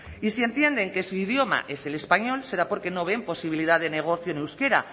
y si entienden que su idioma es el español será porque no ven posibilidad de negocio en euskera